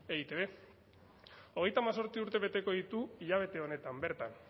eitb hogeita hemezortzi urte beteko ditu hilabete honetan bertan